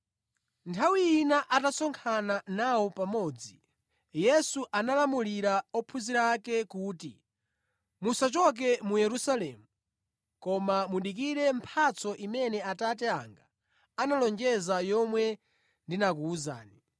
Nthawi ina atasonkhana nawo pamodzi, Yesu analamulira ophunzira ake kuti, “Musachoke mu Yerusalemu, koma mudikire mphatso imene Atate anga analonjeza yomwe ndinakuwuzani.